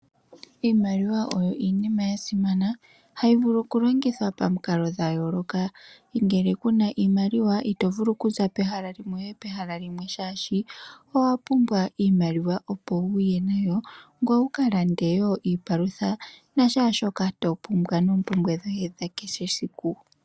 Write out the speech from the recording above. Iimaliwa oyo iinima yasimana hayi vulu okulongithwa pamikalo dha yooloka. Ngele kuna iimaliwa ito vulu okuza pehala limwe toyi pekwawo oshoka owa pumbwa iimaliwa ngoye wukalande iipalutha noompumbwe dhoye hakehe esiku.